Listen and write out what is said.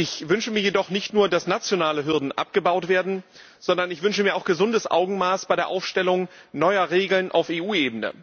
Ich wünsche mir jedoch nicht nur, dass nationale Hürden abgebaut werden, sondern ich wünsche mir auch ein gesundes Augenmaß bei der Aufstellung neuer Regeln auf EU Ebene.